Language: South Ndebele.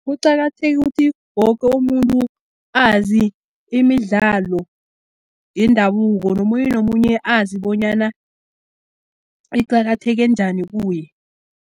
Kuqakatheke ukuthi, woke umuntu azi imidlalo yendabuko, nomunye nomunye azi bonyana iqakatheke njani kuye.